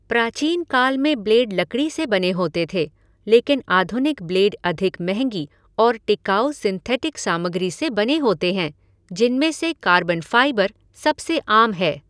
प्राचीनकाल में ब्लेड लकड़ी से बने होते थे, लेकिन आधुनिक ब्लेड अधिक महंगी और टिकाऊ सिंथेटिक सामग्री से बने होते हैं, जिनमें से कार्बन फ़ाइबर सबसे आम है।